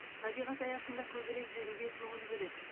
табиғат аясында көбірек жүруге көңіл бөледі